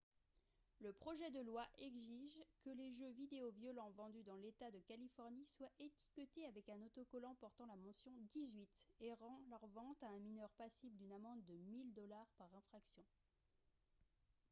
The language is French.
le projet de loi exige que les jeux vidéo violents vendus dans l'état de californie soient étiquetés avec un autocollant portant la mention « 18 » et rend leur vente à un mineur passible d'une amende de 1000 dollars par infraction